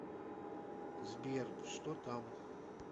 сбер что там